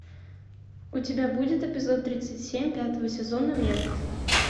у тебя будет эпизод тридцать семь пятого сезона метод